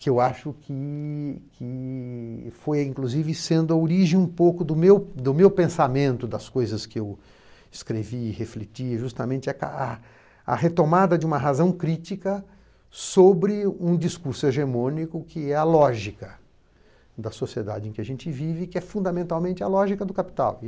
que eu acho que que foi, inclusive, sendo a origem um pouco do meu do meu pensamento, das coisas que eu escrevi, refleti, justamente a a retomada de uma razão crítica sobre um discurso hegemônico que é a lógica da sociedade em que a gente vive, que é fundamentalmente a lógica do capital.